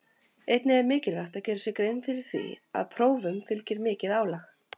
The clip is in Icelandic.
Einnig er mikilvægt að gera sér grein fyrir því að prófum fylgir mikið álag.